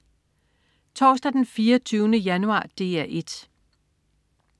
Torsdag den 24. januar - DR 1: